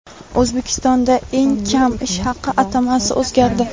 O‘zbekistonda eng kam ish haqi atamasi o‘zgardi.